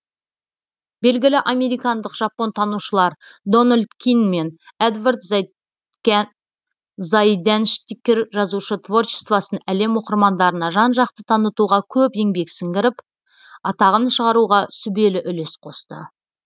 белгілі американдық жапонтанушылар дональд кин мен эдвард зайденштиккер жазушы творчествосын әлем оқырмандарына жан жақты танытуға көп еңбек сіңіріп атағын шығаруға сүбелі үлес қосты